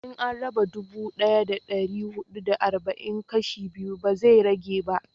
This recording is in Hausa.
in an raba dubu daya da dari hudu da arba'in kashi biyu ba zai rage ba